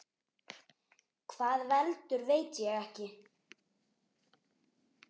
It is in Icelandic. Hvað veldur, veit ég ekki.